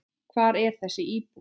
Hvar er þessi íbúð?